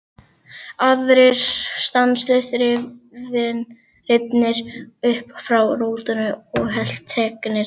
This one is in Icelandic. Aðrir stanslaust rifnir upp frá rótum og helteknir af söknuði.